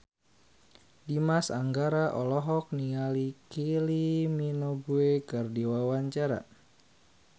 Dimas Anggara olohok ningali Kylie Minogue keur diwawancara